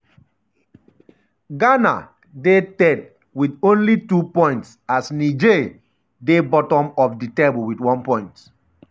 ghana um dey third wit only 2 points as niger dey bottom of um di table wit one point.